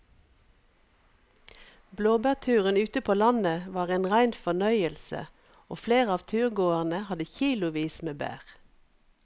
Blåbærturen ute på landet var en rein fornøyelse og flere av turgåerene hadde kilosvis med bær.